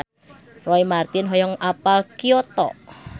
Roy Marten hoyong apal Kyoto